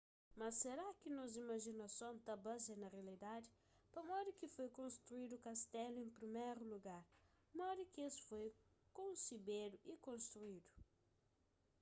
mas será ki nos imajinason ta bazia na rialidadi pamodi ki foi konstruídu kastelu en priméru lugar modi ki es foi konsebedu y konstruídu